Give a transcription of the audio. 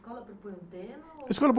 A escola propunha em tema, ou...? escola...